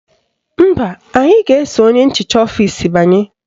Mba, anyị ga-eso onye nchicha ọfisi banye